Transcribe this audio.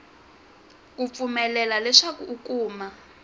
ku pfumelela leswaku u kuma